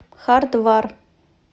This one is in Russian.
хардвар